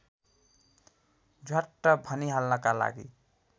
झ्वाट्ट भनिहाल्नका लागि